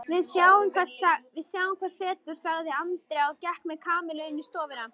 Við sjáum hvað setur sagði Andrea og gekk með Kamillu inn í stofuna.